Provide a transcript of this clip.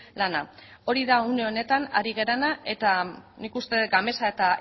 lana hori da une honetan ari garena eta nik uste dut gamesa eta